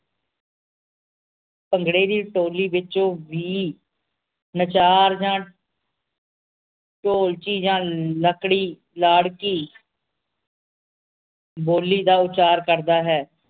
ਭੰਗੜੇ ਦੀ ਟੋਲੀ ਵਿਚੋਂ ਵੀ ਨਚਾਰ ਜਾਂ ਢੋਲਕੀ ਯਾਂ ਲੜਕੀ ਲਾੜਕੀ ਬੋਲੀ ਦਾ ਉਚਾਰ ਕਰਦਾ ਹੈ